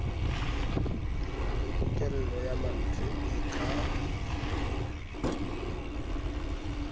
pokello ya mantle e ka